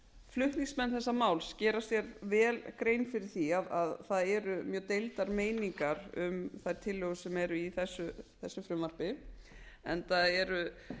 flutningsmenn þessa máls gera sér vel grein fyrir því að það eru mjög deildar meiningar um þær tillögur sem eru í þessu frumvarpi enda eru